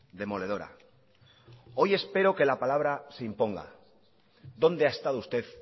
demoledora hoy espero que la palabra se imponga dónde ha estado usted